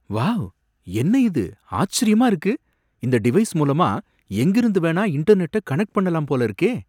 Wow! என்ன இது ஆச்சரியமா இருக்கு! இந்த டிவைஸ் மூலமா எங்கிருந்து வேணா இன்டர்நெட்ட கனெக்ட் பண்ணலாம் போல இருக்கே!